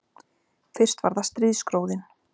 Fyrst var það stríðsgróðinn